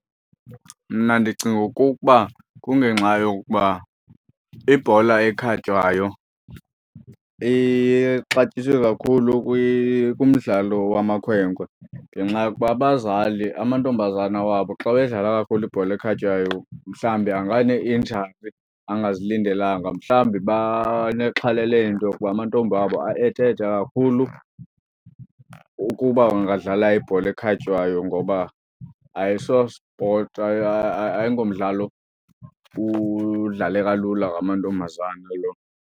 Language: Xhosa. Mna ndicinga okokuba kungenxa yokuba ibhola ekhatywayo ixatyiswe kakhulu kumdlalo wamakhwenkwe ngenxa yokuba abazali amantombazana wabo xa wedlala kakhulu ibhola ekhatywayo mhlawumbi anganeinjari angazilindelanga. Mhlawumbi banexhala leento kuba amantombi abo aethe-ethe kakhulu ukuba angadlala ibhola ekhatywayo ngoba ayisosipoti ayingomdlalo udlaleka lula ngamantombazana lo.